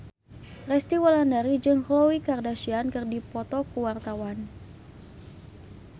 Resty Wulandari jeung Khloe Kardashian keur dipoto ku wartawan